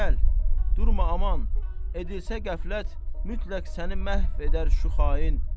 Gəl, durma aman, edilsə qəflət, mütləq səni məhv edər şuhain.